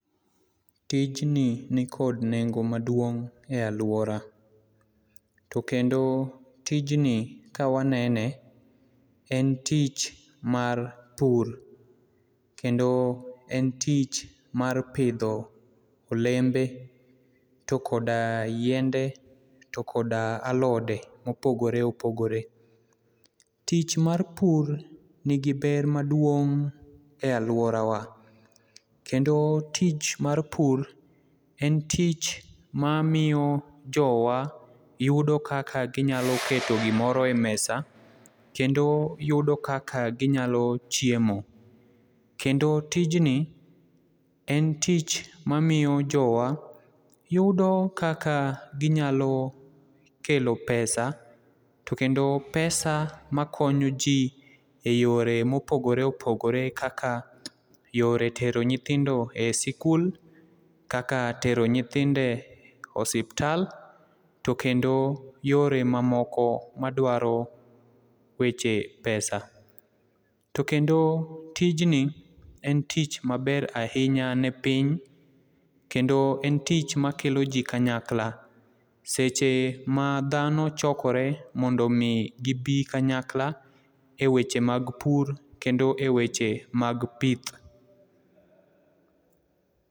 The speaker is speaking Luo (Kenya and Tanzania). Tijni nikod nengo maduong' e aluora to kendo tijni ka wanene en tich mar pur kendo en tich mar pidho olembe to koda yiende to koda alode mopogore opogore. Tich mar pur nigi ber maduong' e aluorawa kendo tich mar pur en tich mamiyo jowa yudo kaka ginyalo keto gimoro e mesa kendo yudo kaka ginyalo chiemo. Kendo tijni en tich mamiyo jowa yudo kaka ginyalo kelo pesa to kendo pesa makonyo jii e yore mopogore opogore kaka yore tere nyithindo e sikul, kaka tero nyithindo e osiptal to kendo yore mamoko ma dwaro weche pesa. To kendo tijni en tich maber ahinya ne piny kendo en tich makelo jii kanyakla seche ma dhano chokore mondo mi gibi kanyakla eweche mag pur kendo eweche mag pith.